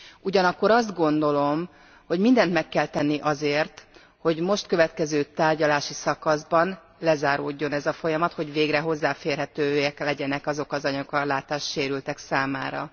Ugyanakkor azt gondolom, hogy mindent meg kell tenni azért, hogy a most következő tárgyalási szakaszban lezáródjon ez a folyamat, hogy végre hozzáférhetőek legyenek azok az anyagok a látássérültek számára.